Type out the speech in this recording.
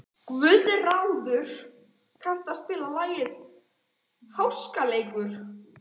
Guðráður, kanntu að spila lagið „Háskaleikur“?